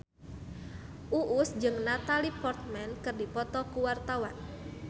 Uus jeung Natalie Portman keur dipoto ku wartawan